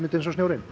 eins og snjórinn